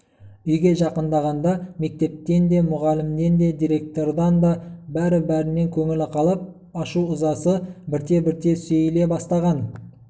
үйге жақындағанда мектептен де мұғалімнен де директордан да бәрі-бәрінен көңілі қалып ашу-ызасы бірте-бірте сейіле бастаған